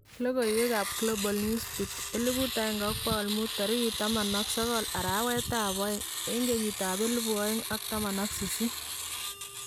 Lokoiwek ab Global Newsbeat 1500 19/02/2018